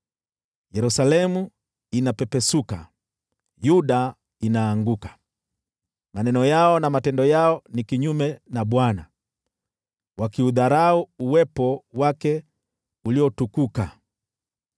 Yerusalemu inapepesuka, Yuda inaanguka; maneno yao na matendo yao ni kinyume na Bwana , wakiudharau uwepo wake uliotukuka.